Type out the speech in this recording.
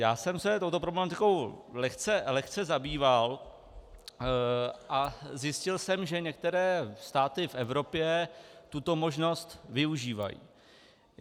Já jsem se touto problematikou lehce zabýval a zjistil jsem, že některé státy v Evropě tuto možnost využívají.